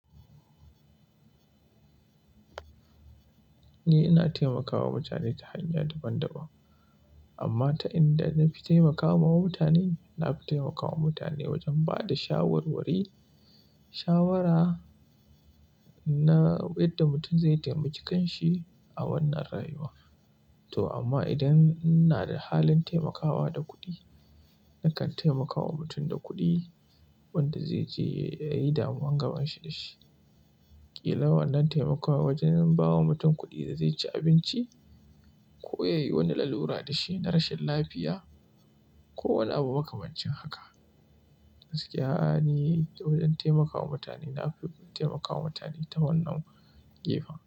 Ni ina taimakawa mutane ta hanya daban-daban. Amma ta inda na fi taimakawa mutane, na fi taimakawa mutane wajen ba da shawarwari, shawara na yadda mutum zai taimaki kan shi a wannan rayuwa. To amma idan ina da halin taimakawa da kuɗi, nakan taimakawa mutum da kuɗi wanda zai je ya yi damuwa gaban shi da shi. Kila wannin taimakawa wajen bawa mutum kuɗi da zai ci abinci ko ya yi wani lalura da shi na rashin lafiya ko wani abu makamancin haka. Gaskiya, ni ta wajen taimakawa mutane, na fi taimakawa mutane ta wannan gefen.